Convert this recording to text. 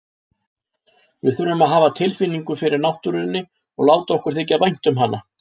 Við þurfum að hafa tilfinningu fyrir náttúrunni og láta okkur þykja vænt um hana.